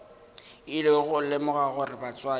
ile go lemoga gore batswadi